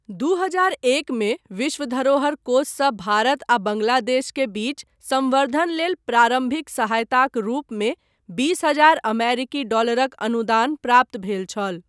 दू हजार एकमे विश्व धरोहर कोषसँ भारत आ बाङ्ग्लादेश के बीच संवर्धन लेल प्रारम्भिक सहायताक रूपमे २०,००० अमेरिकी डॉलरक अनुदान प्राप्त भेल छल।